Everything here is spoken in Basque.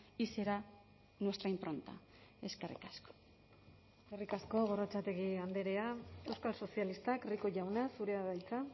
y será nuestra impronta eskerrik asko eskerrik asko gorrotxategi andrea euskal sozialistak rico jauna zurea da hitza